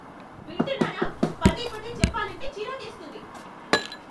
వింటున్నారా? పదే పదే చెప్పాలంటే చిరాకేస్తుంది!